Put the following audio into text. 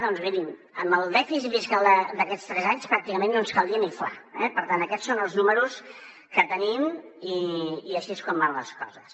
doncs mirin amb el dèficit fiscal d’aquests tres anys pràcticament no ens caldria ni fla eh per tant aquests són els números que tenim i així és com van les coses